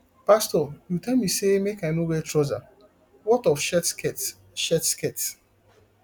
pastor you tell me say make i no wear trouser what of shirt skirt shirt skirt